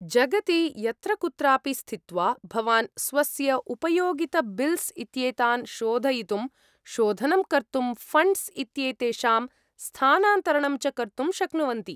जगति यत्र कुत्रापि स्थित्वा, भवान् स्वस्य उपयोगिताबिल्स् इत्येतान् शोधयितुं, शोधनं कर्तुं, फण्ड्स् इत्येतेषां स्थानान्तरणं च कर्तुं शक्नुवन्ति।